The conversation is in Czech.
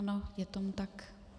Ano, je tomu tak.